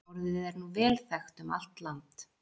Orðið er nú vel þekkt um allt land.